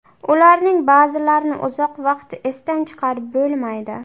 Ularning ba’zilarini uzoq vaqt esdan chiqarib bo‘lmaydi.